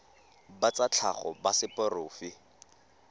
ba tsa tlhago ba seporofe